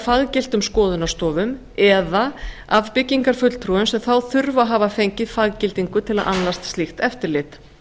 faggiltum skoðunarstofum eða af byggingarfulltrúum sem þá þurfa að hafa fengið faggildingu til að annast slíkt eftirlit